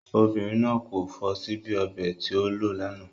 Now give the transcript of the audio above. Obìnrin náà kò fọ síbí ọbẹ̀ tí o lò lánàá.